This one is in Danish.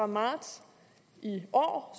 marts i år